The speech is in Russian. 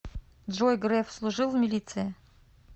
джой греф служил в милиции